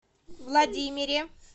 владимире